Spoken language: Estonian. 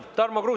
Aitäh!